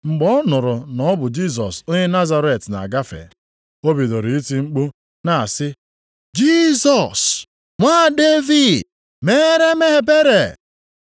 Mgbe ọ nụrụ na ọ bụ Jisọs onye Nazaret na-agafe, o bidoro iti mkpu na-asị, “Jisọs, nwa Devid, meere m ebere!”